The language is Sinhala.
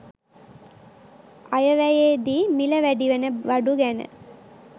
අයවැයේදී මිල වැඩිවෙන බඩු ගැන